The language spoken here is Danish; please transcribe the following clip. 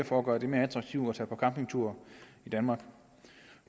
for at gøre det mere attraktivt at tage på campingtur i danmark